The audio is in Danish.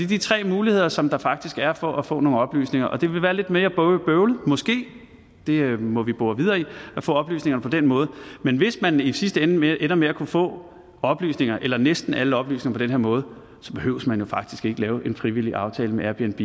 de tre muligheder som der faktisk er for at få nogle oplysninger og det vil være lidt mere bøvlet måske det må vi bore videre i at få oplysningerne på den måde men hvis man i sidste ende ender med at kunne få oplysninger eller næsten alle oplysninger på den her måde så behøver man jo faktisk ikke lave en frivillig aftale med airbnb